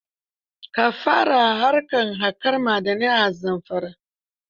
Ka fara harkar kaƙar ma'adanai a Zamfara.